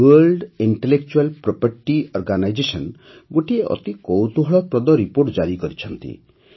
world intellectual property organisation ଗୋଟିଏ ଅତି କୌତୂହଳପ୍ରଦ ରିପୋର୍ଟ ଜାରି କରିଛନ୍ତି